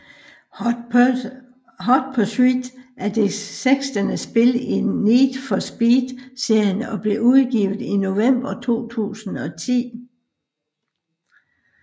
Hot Pursuit er det sekstende spil i Need for Speed serien og blev udgivet i November 2010